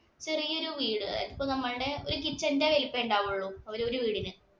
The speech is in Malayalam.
ചെറിയൊരു വീട് ഇപ്പൊ നമ്മളുടെ നമ്മുടെ kitchen ന്‍റെ വലുപ്പമേ ഉണ്ടാവുള്ളൂ അവരുടെ ഒരു വീടിന്.